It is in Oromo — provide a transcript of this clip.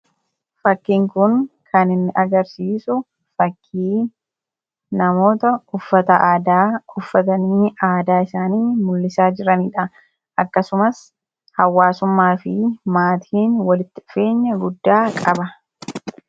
Fakkiin kun kan inni agarsiisu fakkii namoota uffata aadaa uffatanii aadaa isaanii mul'isaa jiranidha. Akkasumas hawaasummaafii maatiin walitti dhufeenya guddaa qaba.